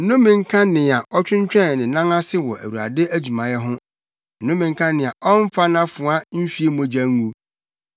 “Nnome nka nea ɔtwentwɛn ne nan ase wɔ Awurade adwumayɛ ho! Nnome nka nea ɔmmfa nʼafoa nhwie mogya ngu!